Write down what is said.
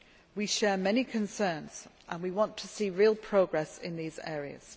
We share many concerns and we want to see real progress in these areas.